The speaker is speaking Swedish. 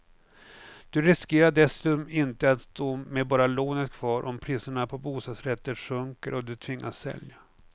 Du riskerar dessutom inte att stå med bara lånet kvar om priset på bostadsrätter sjunker och du tvingas sälja.